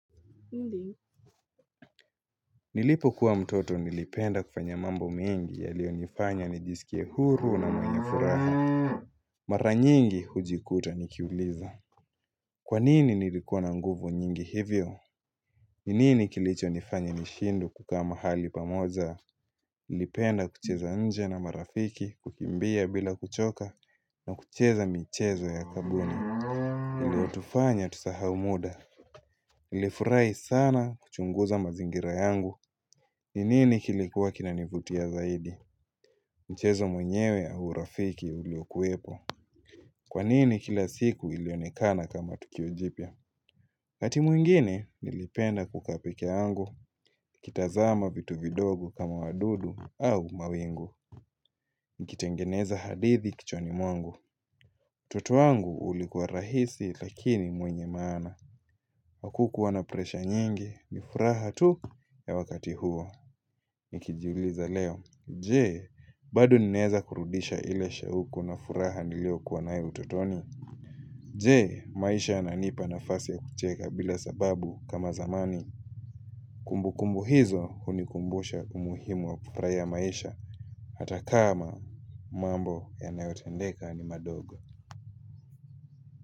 Nilipokuwa mtoto nilipenda kufanya mambo mengi yaliyo nifanya nijisikie huru na mwenye furaha. Mara nyingi hujikuta nikiuliza. Kwanini nilikuwa na nguvu nyingi hivyo? Ni nini kilicho nifanya nishindwe kukaa mahali pamoja? Nilipenda kucheza nje na marafiki, kukimbia bila kuchoka, na kucheza michezo ya kabuni. Iliyotufanya tusahau muda. Nilifurahi sana kuchunguza mazingira yangu. Ni nini kilikuwa kinanivutia zaidi? Mchezo mwenyewe au urafiki uliokuwepo. Kwanini kila siku ilionekana kama tukio jipya? Wakati mwingine nilipenda kukaa pekeyagu. Nikitazama vitu vidogo kama wadudu au mawingu. Nikitengeneza hadithi kichwani mwangu. Utoto wangu ulikuwa rahisi lakini mwenye maana. Hakukuwa na presha nyingi. Ni furaha tu ya wakati huo. Nikijiuliza leo. Jee, bado ninaweza kurudisha ile shauku na furaha niliyokuwa nayo utotoni? Jee, maisha yananipa nafasi ya kucheka bila sababu kama zamani? Kumbukumbu hizo hunikumbusha umuhimu wa kufurahia maisha. Hata kama mambo yanayotendeka ni madogo.